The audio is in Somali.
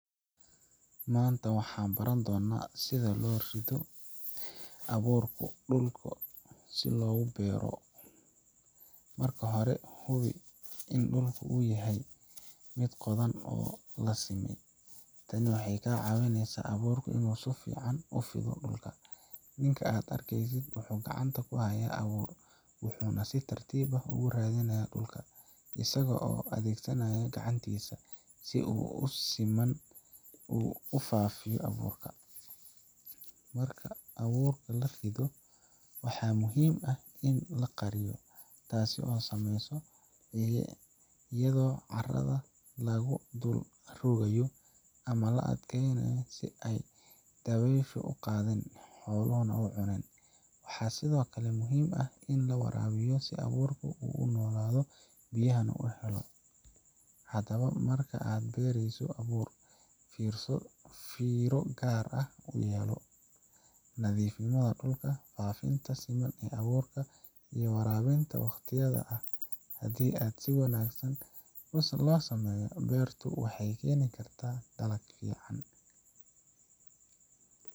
Maanta waxaan baran doonaa sida loo rido abuurka dhulka si loogu beero. Marka hore, hubi in dhulku uu yahay mid la qoday oo la simay. Tani waxay caawisaa in abuurku si fiican ugu fido dhulka. Ninka aad arkaysid wuxuu gacanta ku hayaa abuur, wuxuuna si tartiib ah ugu ridayaa dhulka, isagoo adeegsanaya gacantiisa si uu si siman ugu faafiyo abuurka. Marka abuurka la rido, waxaa muhiim ah in la qariyo, taas oo la sameeyo iyadoo carrada yar lagu dul rogayo ama la adkeeyo si aanay dabayshu u qaadin ama xooluhu u cunin. Waxaa sidoo kale muhiim ah in la waraabiyo si abuurku u nolaaduu biyahanah uhelo. Haddaba, marka aad beerayso abuur, fiiro gaar ah u yeelo: nadiifinta dhulka, faafinta siman ee abuurka, iyo waraabinta waqtigeeda ah. Haddii si wanaagsan loo sameeyo, beertu waxay keeni kartaa dalag fiican.